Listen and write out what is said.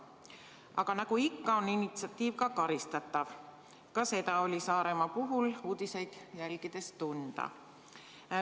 Aga nagu ikka, on initsiatiiv karistatav – ka seda oli Saaremaa puhul uudiseid jälgides tunda.